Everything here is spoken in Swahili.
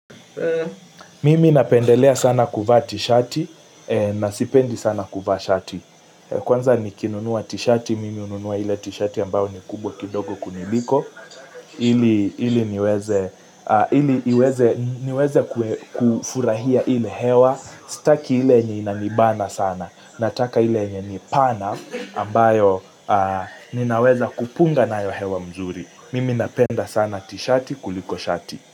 Mimi napendelea sana kuvaa t-shati, na sipendi sana kuvaa shati. Kwanza nikinunuwa t-shati, mimi ununuwa ile t-shati ambayo ni kubwa kidogo kuniliko. Ili niweze kufurahia ile hewa, staki ile yenye inanibana sana. Nataka ile yenye ni pana ambayo ninaweza kupunga nayo hewa mzuri. Mimi napenda sana t-shati kuliko shati.